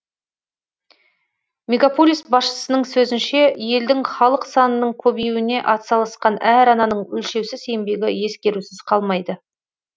мегаполис басшысының сөзінше елдің халық санының көбеюіне атсалысқан әр ананың өлшеусіз еңбегі ескерусіз қалмайды